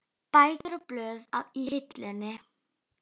Bækur og blöð í hillum.